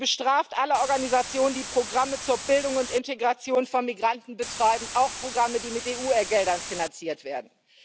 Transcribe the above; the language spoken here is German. Sie bestraft alle Organisationen, die Programme zur Bildung und Integration von Migranten betreiben, auch Programme, die mit EU Geldern finanziert werden.